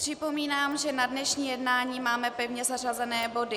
Připomínám, že na dnešní jednání máme pevně zařazené body.